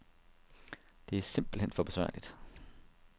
Det er simpelt hen for besværligt.